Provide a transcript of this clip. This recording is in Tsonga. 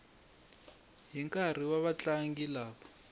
hi nkarhi na vatlangi lava